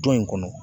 Du in kɔnɔ